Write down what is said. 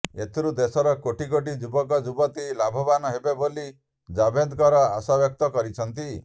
ଏଥିରୁ ଦେଶର କୋଟି କୋଟି ଯୁବକଯୁବତୀ ଲାଭବାନ ହେବେ ବୋଲି ଜାଭେଦକର ଆଶାବ୍ୟକ୍ତ କରିଛନ୍ତି